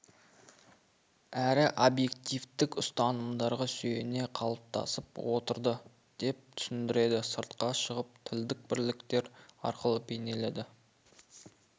әрі объективтік ұстанымдарға сүйене қалыптасып отырды деп түсіндіреді сыртқа шығып тілдік бірліктер арқылы бейнеленеді